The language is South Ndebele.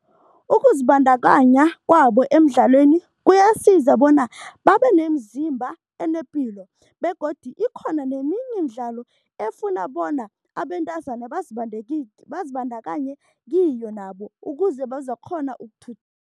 Ukuzibandakanya kwabo emidlalweni kuyasiza bona babe nemizimba enepilo begodu ikhona neminye imidlalo efuna bona abentazana bazibandakanye kiyo nabo, ukuze bazokukghona